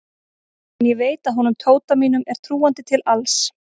En ég veit að honum Tóta mínum er trúandi til alls.